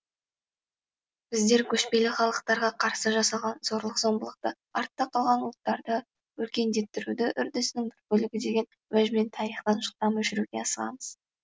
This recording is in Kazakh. біздер көшпелі халықтарға қарсы жасалған зорлық зомбылықты артта қалған ұлттарды өркендеттіруді үрдісінің бір бөлігі деген уәжбен тарихтан жылдам өшіруге асығамыз